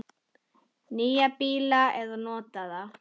Nýja bíla eða notaða?